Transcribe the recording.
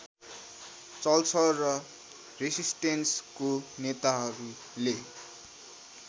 चल्छ र रेसिस्टेन्सको नेताहरूले